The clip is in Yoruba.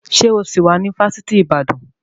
Ṣé o sì wá ní Fásitì Ìbàdàn?